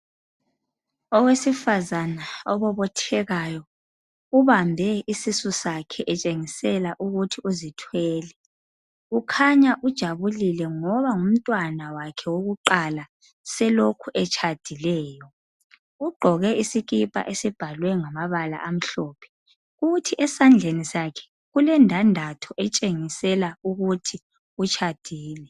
Owesifazana obobothekayo ubambe isisu sakhe etshengisela ukuthi uzithwele ,ukhanya ujabulile ngoba ngumntwana wakhe wakuqala selokhe etshadileyo ugqoke isikipa esibhalwe ngamabala amhlophe kuthi esandleni sakhe ulendandatho etsengisela ukuthi utshadile.